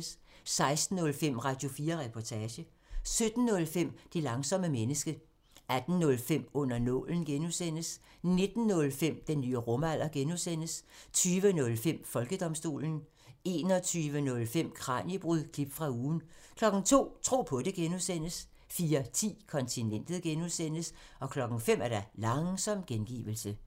16:05: Radio4 Reportage 17:05: Det langsomme menneske 18:05: Under nålen (G) 19:05: Den nye rumalder (G) 20:05: Folkedomstolen 21:05: Kraniebrud – klip fra ugen 02:00: Tro på det (G) 04:10: Kontinentet (G) 05:00: Langsom gengivelse